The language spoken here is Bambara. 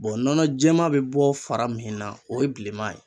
nɔnɔ jɛma bɛ bɔ fara min na o ye bilenman ye.